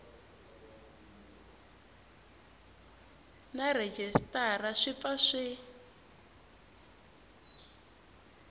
na rhejisitara swi pfa swi